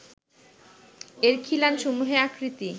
এর খিলানসমূহের আকৃতি